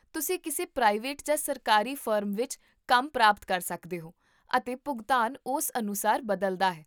ਤੁਸੀਂ ਕਿਸੇ ਪ੍ਰਾਈਵੇਟ ਜਾਂ ਸਰਕਾਰੀ ਫਰਮ ਵਿੱਚ ਕੰਮ ਪ੍ਰਾਪਤ ਕਰ ਸਕਦੇ ਹੋ, ਅਤੇ ਭੁਗਤਾਨ ਉਸ ਅਨੁਸਾਰ ਬਦਲਦਾ ਹੈ